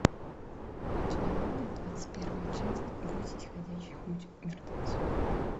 у тебя будет двадцать первая часть бойтесь ходячих мертвецов